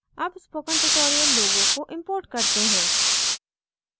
अब spoken tutorial logo को import करते हैं